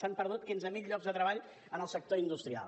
s’han perdut quinze mil llocs de treball en el sector industrial